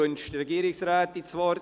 Wünscht die Regierungsrätin das Wort?